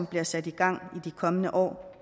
bliver sat i gang i de kommende år